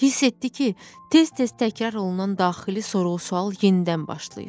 Hiss etdi ki, tez-tez təkrar olunan daxili sorğu-sual yenidən başlayır.